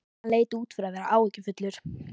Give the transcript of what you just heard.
Hann leit út fyrir að vera áhyggjufullur.